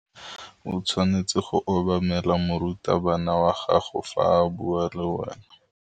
O tshwanetse go obamela morutabana wa gago fa a bua le wena.